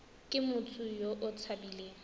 ke motho yo o tshabileng